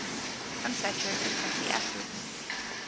unsaturated fatty acids